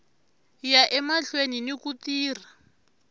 ya emahlweni ni ku tirha